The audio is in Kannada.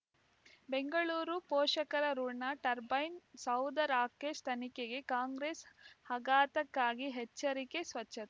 ಬೆಂಗಳೂರು ಪೋಷಕರಋಣ ಟರ್ಬೈನ್ ಸೌಧ ರಾಕೇಶ್ ತನಿಖೆಗೆ ಕಾಂಗ್ರೆಸ್ ಆಘಾತಕಾಗಿ ಎಚ್ಚರಿಕೆ ಸ್ವಚ್ಛ